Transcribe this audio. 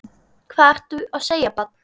Hvað ertu að segja barn?